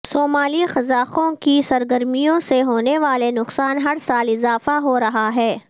صومالی قزاقوں کی سرگرمیوں سے ہونے والے نقصان ہر سال اضافہ ہو رہا ہے